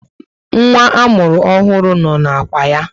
Nwa amụrụ ọhụrụ no na ákwà ya